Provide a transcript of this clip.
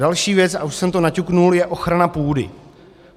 Další věc, a už jsem to naťukl, je ochrana půdy.